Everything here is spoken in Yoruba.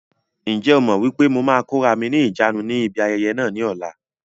Ǹjẹ́ o mọ wípé mo máa kóra mi ni ìjánu ni ibi ayẹyẹ náà ni ọ̀la?